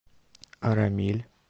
арамиль